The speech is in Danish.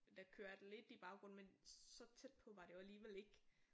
Der kørte lidt i baggrunden men så tæt på var det jo alligevel ikke